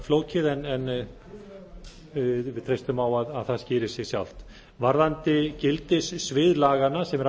flókið en við treystum á að það skýri sig sjálft varðandi gildissvið laganna sem er